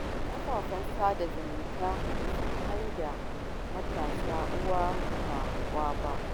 Kafafen sada zumunta sun maida matasa uwa ba kwa ba.